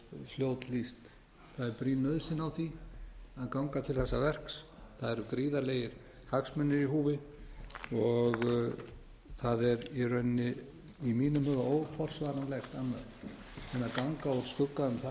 fljót lýst það er brýn nauðsyn á því að ganga til þessa verks það eru gríðarlegir hagsmunir í húfi það er í rauninni í mínum huga óforsvaranlegt annað en að ganga úr skugga um það